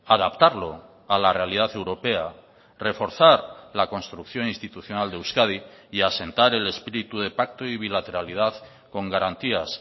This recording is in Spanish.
adaptarlo a la realidad europea reforzar la construcción institucional de euskadi y asentar el espíritu de pacto y bilateralidad con garantías